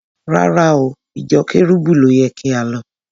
Rárá o, ìjọ Kẹ́rúbù ló yẹ kí á lọ.